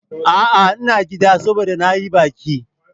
A'a, ina gida, saboda na yi baki.